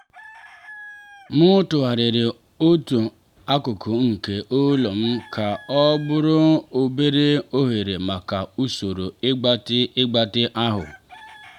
m tụgharịrị otu akụkụ nke ụlọ m ka ọ bụrụ obere oghere maka usoro ịgbatị ịgbatị ahụ.